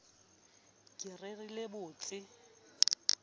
ke re re le bolelletse